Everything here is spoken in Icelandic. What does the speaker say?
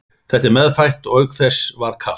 Þetta er meðfætt og auk þess var kalt.